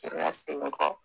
Tirira segin kɔ